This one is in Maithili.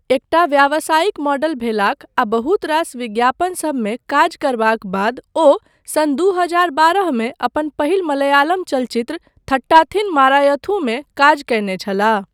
एकटा व्यावसायिक मॉडल भेलाक आ बहुत रास विज्ञापनसबमे काज करबाक बाद ओ सन् दू हजार बारहमे अपन पहिल मलयालम चलचित्र थट्टाथिन मारायथुमे काज कयने छलाह।